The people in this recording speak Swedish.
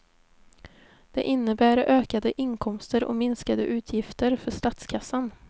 Det innebär ökade inkomster och minskade utgifter för statskassan.